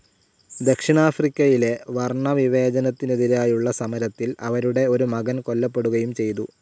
ദക്ഷിണാഫ്രിക്കയിലെ വർണവിവേചനത്തിനെതിരായുള്ള സമരത്തിൽ അവരുടെ ഒരു മകൻ കൊല്ലപ്പെടുകയും ചെയ്തു.